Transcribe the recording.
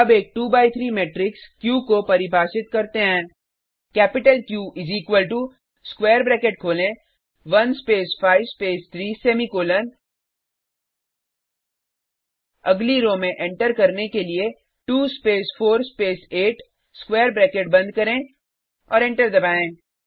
अब एक 2 by 3 matrix Q को परिभाषित करते हैं कैपिटल क्यू इस इक्वल टो स्क्वायर ब्रैकेट खोलें 1 स्पेस 5 स्पेस 3 सेमीकोलन अगली रो में एंटर करने के लिए 2 स्पेस4 स्पेस 8 स्क्वायर ब्रैकेट बंद करें और एंटर दबाएँ